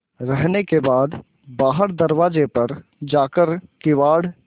रहने के बाद बाहर दरवाजे पर जाकर किवाड़